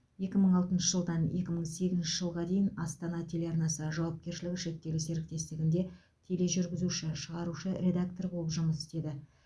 екі мың алтыншы жылдан екі мың сегізінші жылға дейін астана телеарнасы жауапкершілігі шектеулі серіктестігінде тележүргізуші шығарушы редактор болып жұмыс істеді